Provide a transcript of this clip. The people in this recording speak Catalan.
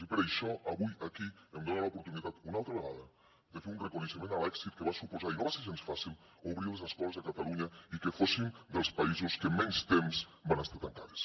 i per això avui aquí em dona l’oportunitat una altra vegada de fer un reconeixement a l’èxit que va suposar i no va ser gens fàcil obrir les escoles a catalunya i que fóssim dels països en què menys temps van estar tancades